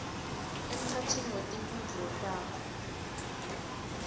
emkhatsini wetimphendvulo takho